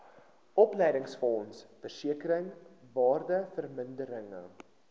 opleidingsfonds versekering waardevermindering